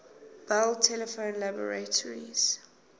bell telephone laboratories